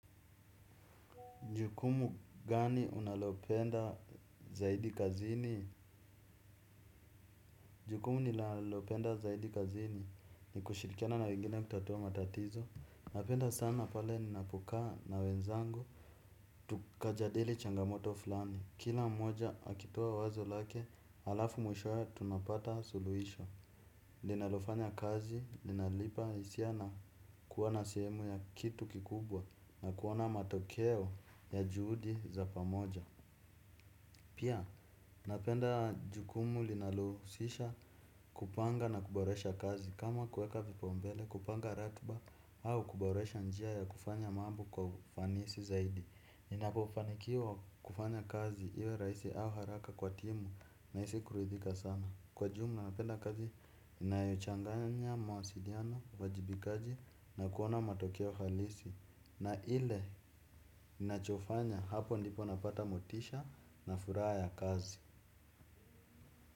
Jukumu gani unalopenda zaidi kazini? Jukumu nilalopenda zaidi kazini ni kushirikiana na wengine kutatua matatizo. Napenda sana pale ninapokaa na wenzangu. Tukajadili changamoto fulani. Kila mmoja akitoa wazo lake, alafu mwishoe tunapata suluhisho. Linalofanya kazi, linanipa hisia na kuwa na sehemu ya kitu kikubwa na kuona matokeo ya juhudi za pamoja. Pia ninapenda jukumu linalohusisha, kupanga na kuboresha kazi. Kama kuweka vipaumbele, kupanga ratiba au kuboresha njia ya kufanya mambo kwa ufanisi zaidi. Ninapofanikiwa kufanya kazi iwerahisi au haraka kwa timu nahisi kuridhika sana. Kwa jumla napenda kazi, inayochanganya mawasiliano, uwajibikaji na kuona matokeo halisi. Na ile ninachofanya hapo ndipo napata motisha na furaha ya kazi.